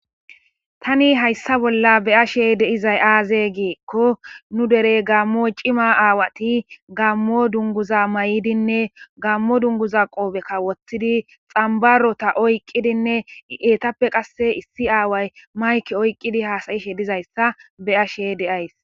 tani hayssa bolla be7ashe de7izay aaze giikko nu derey gammo cima aawati gammo dunguza may7idinne gammo dunguza qoobekka wottidi xambarota oyqqidinne eetappe qasse issi aaway mayke oyqqidi haasayishe dizayssa be7ashe de7ays.